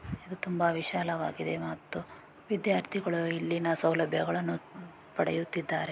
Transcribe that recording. ತುಂಬಾ ವಿಶಾಲವಾಗಿದೆ ಮತ್ತು ವಿದ್ಯಾರ್ಥಿಗಳು ಇಲ್ಲಿನ ಸೌಲಭ್ಯಗಳನ್ನು ಪಡೆಯುತ್ತಿದ್ದಾರೆ